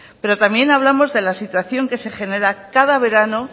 pero también hablamos de la situación que se genera cada verano